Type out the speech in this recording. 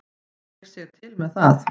Ég sé til með það.